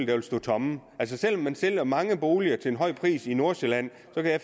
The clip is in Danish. der stod tomme selv om man sælger mange boliger til en høj pris i nordsjælland